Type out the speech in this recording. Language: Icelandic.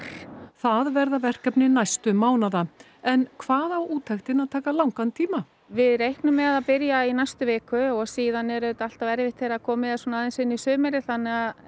það verði verkefni næstu mánaða en hvað á úttektin að taka langan tíma við reiknum með að byrja í næstu viku og síðan er auðvitað alltaf erfitt þegar komið er svona aðeins inn í sumarið þannig að